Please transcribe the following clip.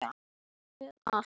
Engu varð um þokað.